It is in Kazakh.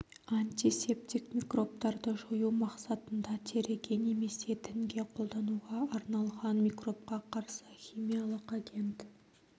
антисептик микробтарды жою мақсатында теріге немесе тінге қолдануға арналған микробқа қарсы химиялық агент